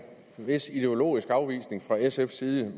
vis ideologisk afvisning fra sfs side